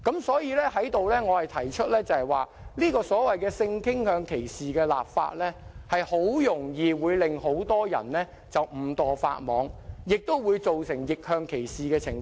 所以，我想在此提出，所謂性傾向歧視立法，很容易會令很多人誤墮法網，亦會造成逆向歧視的情況。